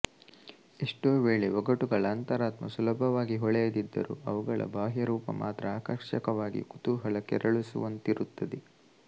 ಎಷ್ಟೋ ವೇಳೆ ಒಗಟುಗಳ ಅಂತರಾರ್ಥ ಸುಲಭವಾಗಿ ಹೊಳೆಯದಿದ್ದರೂ ಅವುಗಳ ಬಾಹ್ಯರೂಪ ಮಾತ್ರ ಆಕರ್ಷಕವಾಗಿ ಕುತೂಹಲ ಕೆರಳಿಸುವಂತಿರುತ್ತದೆ